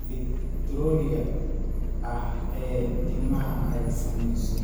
elektarooniga ah ee timaha ay saamaysay.